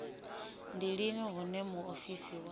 ndi lini hune muofisi wa